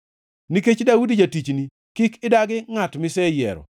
Nikech Daudi jatichni, kik idagi ngʼati miseyiero.